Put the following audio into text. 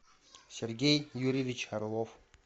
сергей юрьевич орлов